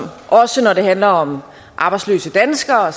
også når det handler om arbejdsløse danskere